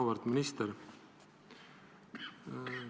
Auväärt minister!